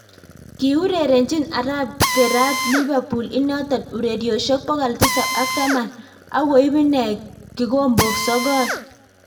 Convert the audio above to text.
Kiurerenchii Arap Geraat lipapool inotok urerosiek pokol tisap ak taman akoib inee kikombok sokol